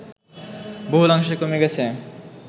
বহুলাংশে কমে গেছে